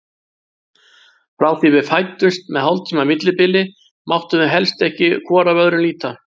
Frá því við fæddumst með hálftíma millibili máttum við helst ekki hvor af öðrum líta.